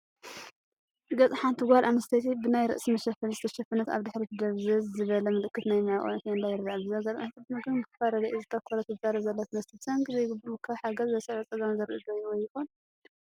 ገጽ ሓንቲ ጓል ኣንስተይቲ፡ ብናይ ርእሲ መሸፈኒዝተሸፈነት፡ ኣብ ድሕሪት ድብዝዝ ዝበለ ምልክት ናይ መዕቆቢ ኬንዳ ይረአ። ብዘጋጠመ ሕጽረት ምግብን ምክፍፋል ረድኤትን ዘተኮረ ትዛረብ ዘላ ትመስል፡ ብሰንኪ ዘይግቡእ ምክፍፋል ሓገዝ ዘስዕቦ ጸገማት ዘርኢ ዶ ወይ ይኾን?